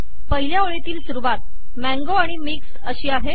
पहिल्या ओळीतील सुरुवात मँगो आणि मिक्स्ड आहे